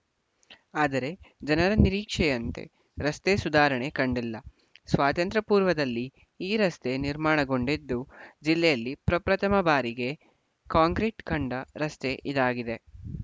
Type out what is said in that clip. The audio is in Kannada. ಆದರೆ ಜನರ ನಿರೀಕ್ಷೆಯಂತೆ ರಸ್ತೆ ಸುಧಾರಣೆ ಕಂಡಿಲ್ಲ ಸ್ವಾತಂತ್ರ್ಯ ಪೂರ್ವದಲ್ಲಿ ಈ ರಸ್ತೆ ನಿರ್ಮಾಣಗೊಂಡಿದ್ದು ಜಿಲ್ಲೆಯಲ್ಲಿ ಪ್ರಪ್ರಥಮ ಬಾರಿಗೆ ಕಾಂಕ್ರೀಟ್‌ ಕಂಡ ರಸ್ತೆ ಇದಾಗಿದೆ